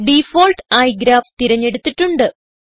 default ആയി graph തിരഞ്ഞെടുത്തിട്ടുണ്ട്